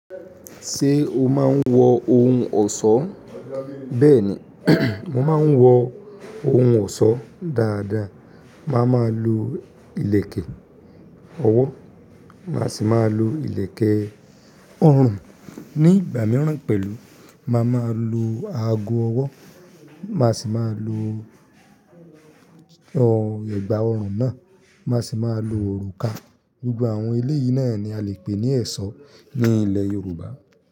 Ṣé o máa ń wọ ohun ọ̀ṣọ́? Bẹ́ẹ̀ni, mo máa ń wọ ohun ọ̀ṣọ́ dáadáa. Máa ma lo ìlẹ̀kẹ̀ ọwọ́, máa sì máa lo ìlẹ̀kẹ̀ ọrùn. Ni ìgbà mìíràn pẹ̀lú, màá máa lo ago ọwọ́, màá sì máa lo ọ ẹ̀gbà ọrùn náà, màá sì máa lo òrùka. Gbogbo àwọn ilé yìí náà ni a lè pè ní ẹ̀ṣọ́ ní ilẹ̀ Yorùbá.